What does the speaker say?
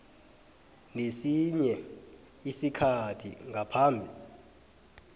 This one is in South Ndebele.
nesinye isikhathi ngaphambi